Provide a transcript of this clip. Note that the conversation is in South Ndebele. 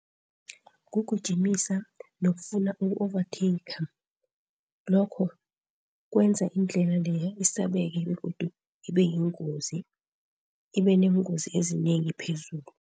Kugijimisa nokufuna uku-overtaker lokho kwenza indlela leya isabeka begodu ibeyingozi, ibeneengozi ezinengi phezulu.